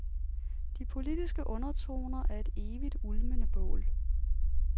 De politiske undertoner er et evigt ulmende bål.